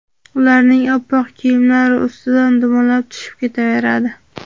ularning oppoq kiyimlari ustidan dumalab tushib ketaveradi..